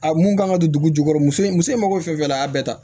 A mun kan ka don dugu jukɔrɔ muso in muso mako bɛ fɛn fɛn na a y'a bɛɛ ta